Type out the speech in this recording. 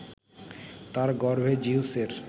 তার গর্ভে জিউসের